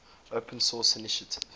open source initiative